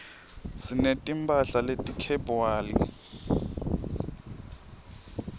sineti mphahla leti khebywali